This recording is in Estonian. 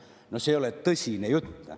No see ei ole tõsine jutt.